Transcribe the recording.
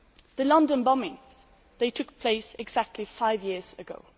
The London bombings took place exactly five years ago.